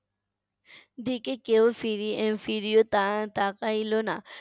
এদিকে কেউ ফিরি এর ফিরিয়েও তা~ তাকাইলো না।